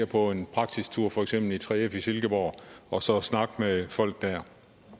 på en praktisk tur for eksempel til 3f i silkeborg og så snakke med folk der